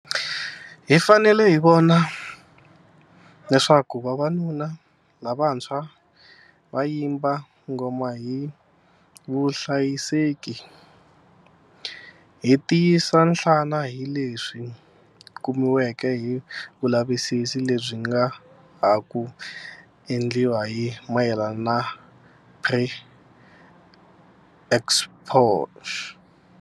Hi fanele hi vona leswaku vavanuna lavantshwa va yimba ngoma hi vuhlayiseki. Hi tiyisiwa nhlana hileswi kumiweke hi vulavisisi lebyi bya ha ku endliwaka hi mayelana na pre exposure prophylaxis, PrEP.